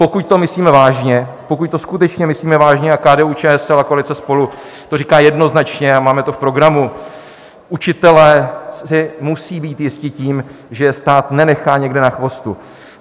Pokud to myslíme vážně, pokud to skutečně myslíme vážně a KDU-ČSL a koalice SPOLU to říká jednoznačně a máme to v programu, učitelé si musí být jisti tím, že je stát nenechá někde na chvostu.